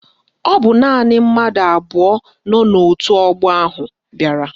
Ọ bụ naanị mmadụ abụọ nọ n'òtù ọgbọ ahụ bịara